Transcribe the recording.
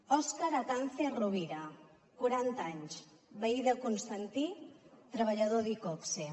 òscar atance rovira quaranta anys veí de constantí treballador d’iqoxe